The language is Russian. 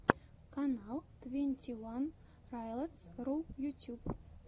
канал твенти ван райлотс ру ютьюб